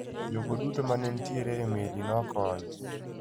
jogo duto manentiere e meli no nokony.